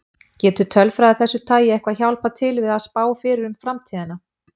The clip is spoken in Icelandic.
Getur tölfræði af þessu tagi eitthvað hjálpað til við að spá fyrir um framtíðina?